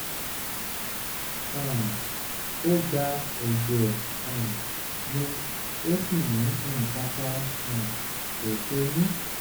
um ó gba ẹ̀jẹ̀ um mi ó sì ní nǹkan kan um kò ṣe mí